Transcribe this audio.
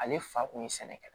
Ale fa kun ye sɛnɛkɛla ye